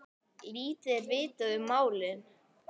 Lítið er vitað um málið.